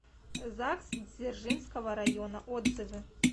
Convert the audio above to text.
загс дзержинского района отзывы